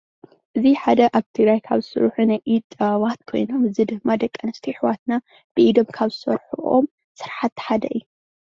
እዚ ሓደ ኣብ ትግራይ ዝስርሑ ናይ ኢድ ጥበባት ኾይኖም እዚ ድማ ደቂ ኣንስትዮ ኣሕዋትና ብኢዶም ካብ ዝሰርሕኦም ስራሕቲ ሓደ እዩ